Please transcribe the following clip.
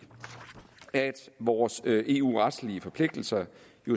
vores eu retslige forpligtelser